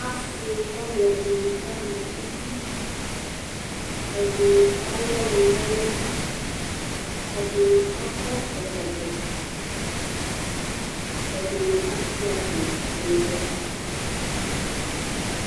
Asiwani ɛdini ama uvi, ɛdini alʋ ɔnʋ n'ɛlʋ, ɛdini akɔ ɛkɔtɔ, ɛdini Asia kpɔ n'ʋwɔ